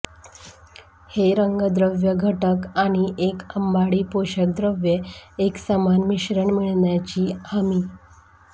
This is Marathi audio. हे रंगद्रव्य घटक आणि एक अंबाडी पोषकद्रव्ये एकसमान मिश्रण मिळण्याची हमी